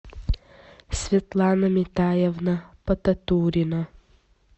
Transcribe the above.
светлана метаевна потатурина